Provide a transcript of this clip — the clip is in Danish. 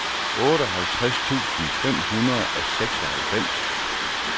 otteoghalvtreds tusind fem hundrede og seksoghalvfems